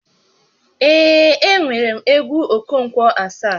Ee, enwerem egwu Okonkwo Asaá